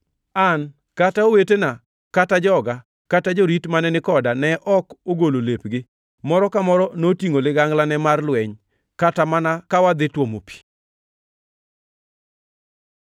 An, kata owetena kata joga kata jorit mane ni koda ne ok ogolo lepgi; moro ka moro notingʼo liganglane mar lweny, kata mana ka wadhi tuomo pi.